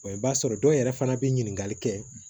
i b'a sɔrɔ dɔw yɛrɛ fana bɛ ɲininkali kɛ